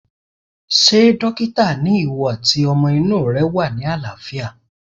Ṣé dókítà ni ìwọ àti ọmọ inú rẹ wà ní àlàáfíà